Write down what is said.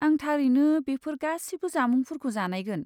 आं थारैनो बेफोर गासिबो जामुंफोरखौ जानायगोन।